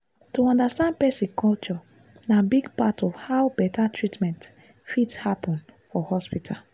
to understand person culture na big part of how better treatment fit happen for hospital.